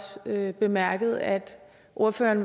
bemærket at ordføreren